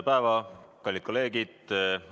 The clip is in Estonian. Tere, kallid kolleegid!